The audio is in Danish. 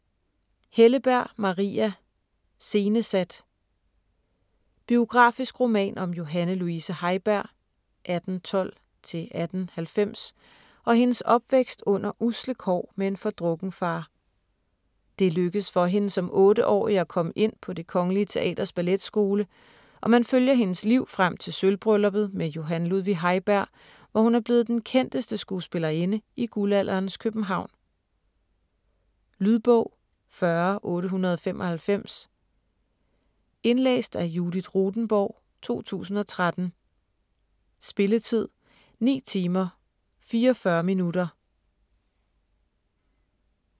Helleberg, Maria: Scenesat Biografisk roman om Johanne Luise Heiberg (1812-1890) og hendes opvækst under usle kår med en fordrukken far. Det lykkes for hende som otteårig at komme ind på Det Kongelige Teaters balletskole, og man følger hendes liv frem til sølvbrylluppet med Johan Ludvig Heiberg, hvor hun er blevet den kendeste skuespillerinde i guldalderens København. Lydbog 40895 Indlæst af Judith Rothenborg, 2013. Spilletid: 9 timer, 44 minutter.